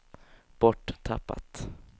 borttappat